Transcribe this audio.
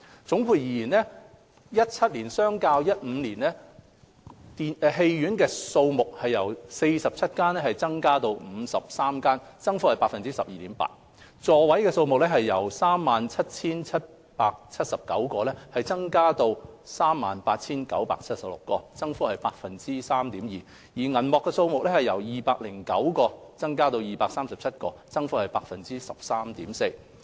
總括而言 ，2017 年相較2015年，電影院數目由47間增加至53間，增幅為 12.8%； 座位數目則由 37,779 個增加至 38,976 個，增幅為 3.2%； 而銀幕數目則由209增加至 237， 增幅為 13.4%。